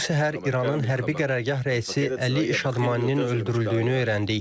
Bu səhər İranın hərbi qərargah rəisi Əli Şadmaninin öldürüldüyünü öyrəndik.